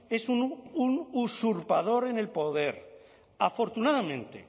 es un usurpador en el poder afortunadamente